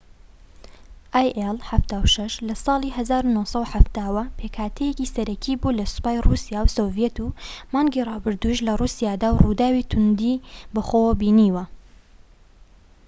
ئای ئیل 76 لە ساڵی 1970ەوە پێکهاتەیەکی سەرەکی بووە لە سوپای ڕووسیا و سۆڤیەت و مانگی ڕابردوودش لە ڕووسیادا ڕووداوی توندی بەخۆوە بینیوە